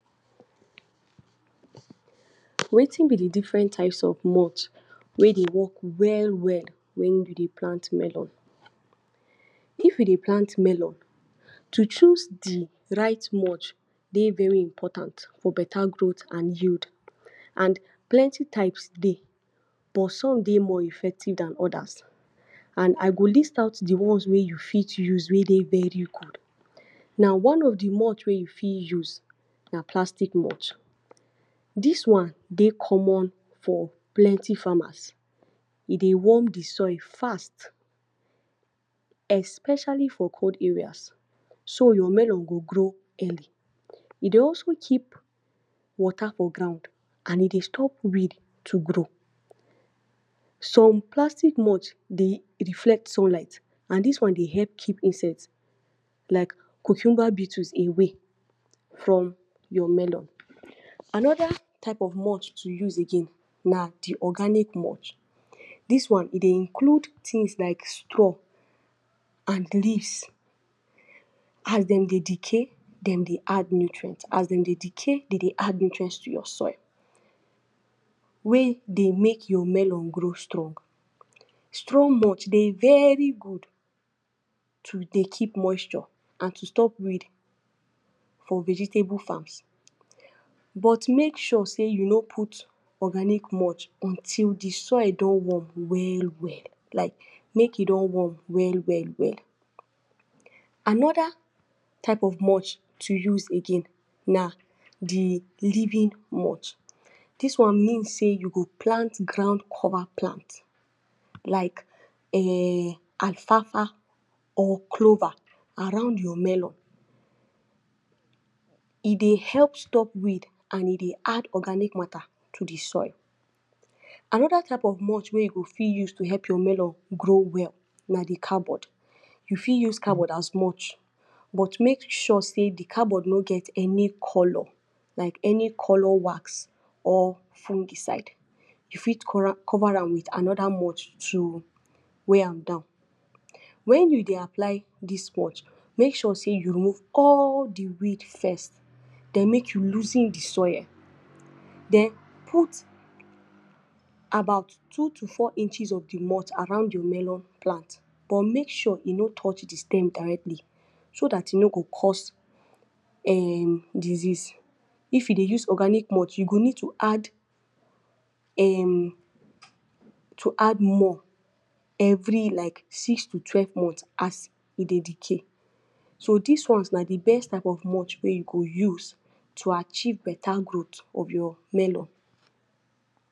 Wetin b de different types of mulch wey dey work well well wen u dey plant melon? If u dey plant melon to choose de right mulch dey very important for beta growth and yield and plenty types dey bust some dey more effective Dan odas and I go list out de ones wey u fit use wey dey very good, na one if de mulch wey u fit use na plastic mulch, dis one dey common for plenty farmers, e dey warm de soil fast especially for cold areas so your melon go grow early, e dey also keep water for ground and e dey stop weed to grow, some plastic mulch dey reflect sunlight and dis one dey help keep insects like cucumber bittles away from your melon, another type of mulch to use again na de organic mulch, dis one e dey include things like straw and leaves, as dem dey decay dem dey add nutrients, as dem dey decay dem dey add nutrients to your soil wey dey make your melon grow strong, strong mulch dey very good to dey keep moisture and to stop weed from vegetable farms but make sure sey u no put organic mulch until de soil don warm well well like make e don warm well well well, another type of mulch to use again na de living mulch, dis one mean sey u go plant ground cover plant like um or clover around your melon, e dey help stop weed and e dey add organic matter to de soil, another type of mulch wey u go fit use to help your melon grow well na de cardboard, u fit use cardboard as mulch but make sure sey de cardboard no get any color like any color wax or fungicide, u for civet am with another much to weigh am down, wen u dey apply dis mulch make sure sey u remove all de weed first den make u loosen de soil den put about two to four inches of de mulch around your melon plant but make sure e no touch de stem directly, so dat e no go cause um disease, if u dey use organic mulch you go need to add um to add more every like six to twelve months as e dey decay. So dis ones na de best type of mulch wey u go use to achieve better growth of your melon.